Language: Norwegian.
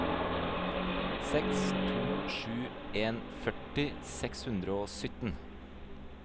seks to sju en førti seks hundre og sytten